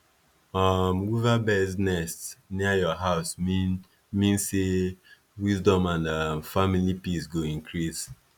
um weaverbirds nest near your house mean mean say wisdom and um family peace go increase